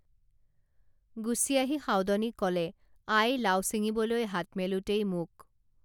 গুচি আহি সাউদনীক কলে আই লাও ছিঙিবলৈ হাত মেলোঁতেই মোক